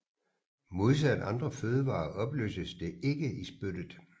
Modsat andre fødevarer opløses det ikke i spyttet